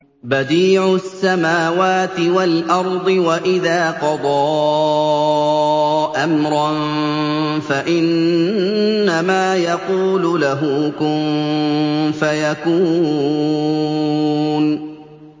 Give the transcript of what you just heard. بَدِيعُ السَّمَاوَاتِ وَالْأَرْضِ ۖ وَإِذَا قَضَىٰ أَمْرًا فَإِنَّمَا يَقُولُ لَهُ كُن فَيَكُونُ